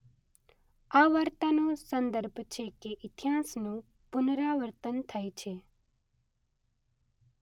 આ વાર્તાનો સંદર્ભ છે કે ઇતિહાસનું પુનરાવર્તન થાય છે.